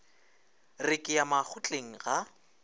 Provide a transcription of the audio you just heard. re ke ya makgotleng ga